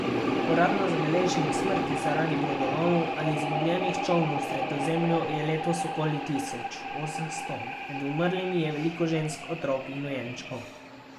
Uradno zabeleženih smrti zaradi brodolomov ali izgubljenih čolnov v Sredozemlju je letos okoli tisoč osemsto, med umrlimi je veliko žensk, otrok in dojenčkov.